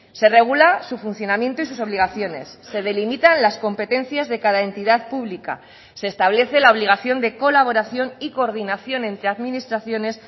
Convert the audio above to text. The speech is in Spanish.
se regula su funcionamiento y sus obligaciones se delimitan las competencias de cada entidad pública se establece la obligación de colaboración y coordinación entre administraciones